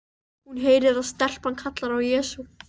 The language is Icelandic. Hún heyrir að stelpan kallar á Jesú.